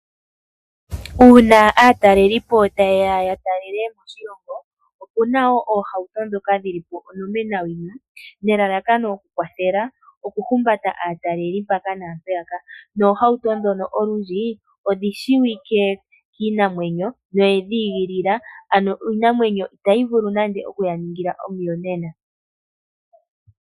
Uuna aatalelipo ta yeya ya talele moshilongo opuna wo oohauto ndhoka dhili po onomenawina nelalakano okukwathela okuhumbata aataleli mpaka naampeyaka, noohauto ndhono olundji odhishiwike kiinamwenyo noye dhi igilila ano iinamwenyo itayi vulu nande okuya ningila omuyonena.